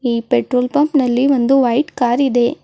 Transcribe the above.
ಈ petrol bunk ನಲ್ಲಿ ಒಂದು ವೈಟ್ ಕಾರ್ ಇದೆ.